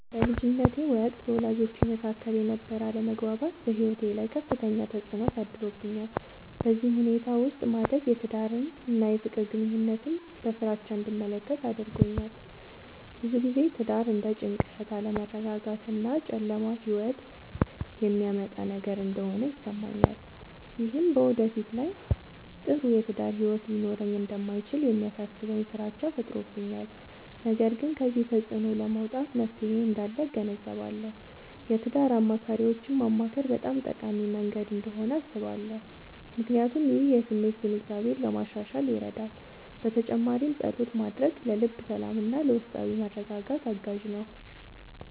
በልጅነቴ ወቅት በወላጆቼ መካከል የነበረ አለመግባባት በሕይወቴ ላይ ከፍተኛ ተፅዕኖ አሳድሮብኛል። በዚህ ሁኔታ ውስጥ ማደግ የትዳርን እና የፍቅር ግንኙነትን በፍራቻ እንድመለከት አድርጎኛል። ብዙ ጊዜ ትዳር እንደ ጭንቀት፣ አለመረጋጋት እና ጨለማ ሕይወት የሚያመጣ ነገር እንደሆነ ይሰማኛል። ይህም በወደፊት ላይ ጥሩ የትዳር ሕይወት ሊኖረኝ እንደማይችል የሚያሳስበኝ ፍራቻ ፈጥሮብኛል። ነገር ግን ከዚህ ተፅዕኖ ለመውጣት መፍትሔ እንዳለ እገነዘባለሁ። የትዳር አማካሪዎችን ማማከር በጣም ጠቃሚ መንገድ እንደሆነ አስባለሁ፣ ምክንያቱም ይህ የስሜት ግንዛቤን ለማሻሻል ይረዳል። በተጨማሪም ፀሎት ማድረግ ለልብ ሰላምና ለውስጣዊ መረጋጋት አጋዥ ነው።